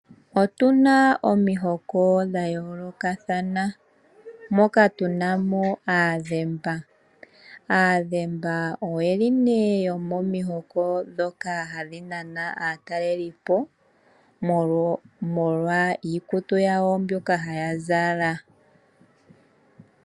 Otuna omihoko dhayoolokathana moka tunamo aadhemba. Aadhemba oyeli yomomihoko hadhinana aatalelipo omolwa iikutu yawo mbyoka haya zala